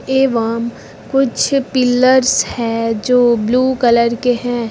एवं कुछ पिलर्स है जो ब्लू कलर के हैं।